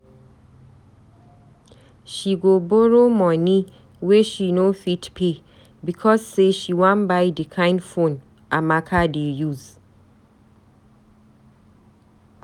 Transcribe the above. She go borrow moni wey she no fit pay because sey she wan buy di kind phone Amaka dey use.